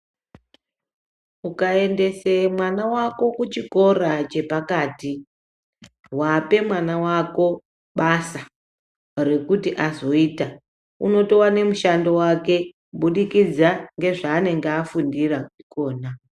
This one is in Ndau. Ukaendese mwana wako kuchikora chepakati wape mwana wako basa rikuti azoita unotowane mushando wake kubudikidza ngezvanenge afundira ikona.